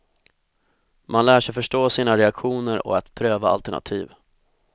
Man lär sig förstå sina reaktioner och att pröva alternativ.